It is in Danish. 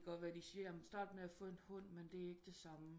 Det kan godt være de siger jamen start med at få en hund men det er ikke det samme